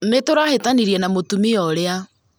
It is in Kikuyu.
Nĩtũrahĩtanirie na mutumia ũrĩa